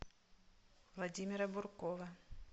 владимира буркова